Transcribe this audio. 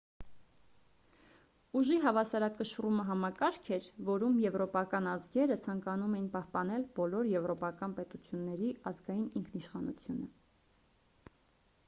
ուժի հավասարակշռումը համակարգ էր որում եվրոպական ազգերը ցանկանում էին պահպանել բոլոր եվրոպական պետությունների ազգային ինքնիշխանությունը